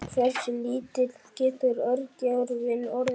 Hversu lítill getur örgjörvinn orðið?